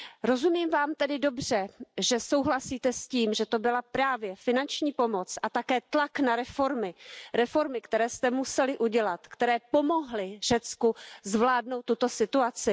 Rozumím Vám tedy dobře, že souhlasíte s tím, že to byla právě finanční pomoc a také tlak na reformy, které jste museli udělat, které pomohly Řecku zvládnout tuto situaci?